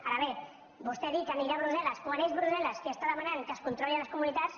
ara bé vostè va dir que anirà a brussel·les quan és brussel·les qui demana que es controlin les comunitats